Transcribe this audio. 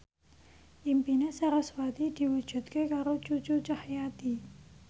impine sarasvati diwujudke karo Cucu Cahyati